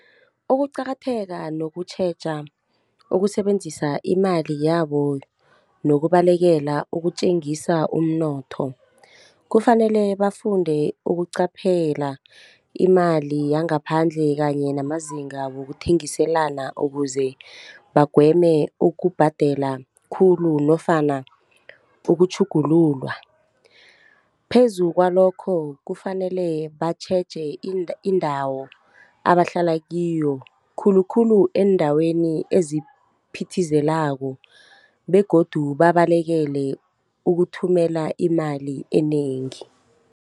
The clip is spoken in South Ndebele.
Ukuqakatheka nokutjheja, ukusebenzisa imali yabo nokubalekela ukutjengisa umnotho. Kufanele bafunde ukuqaphela imali yangaphandle kanye namazinga wokuthengiselana ukuze bagweme ukubhadela khulu nofana ukutjhugululwa. Phezu kwalokho kufanele batjheje indawo abahlala kiyo, khulukhulu eendaweni eziphithizelako begodu babalekele ukuthumela imali enengi.